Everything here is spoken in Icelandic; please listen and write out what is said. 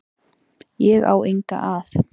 Ég á enga að.